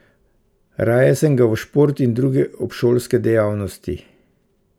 Raje sem ga v šport in druge obšolske dejavnosti.